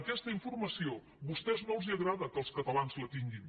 aquesta informació a vostès no els agrada que els catalans la tinguin